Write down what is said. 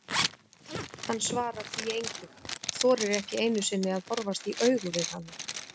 Hann svarar því engu, þorir ekki einu sinni að horfast í augu við hana.